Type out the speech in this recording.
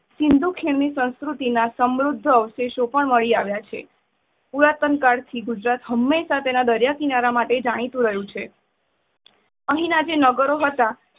સિંધુ ખીણ ની સંસ્કૃતિ ના સમુદ્ધ અવશેષો પણ મળી આવા છે. પુરાતનકાળ થી ગુજરાત હંમેશા તેના દરિયાકિનારા તરીકે જાણીતું રહ્યું છે. અહીંના જે નાગરો હતા.